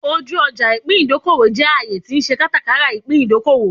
Oju oja ipin idokowo je aaye ti n se katakara ipin idokowo